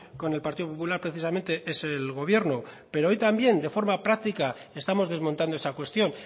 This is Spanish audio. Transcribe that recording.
con el partido popular precisamente es el gobierno pero hoy también de forma práctica estamos desmontando esa cuestión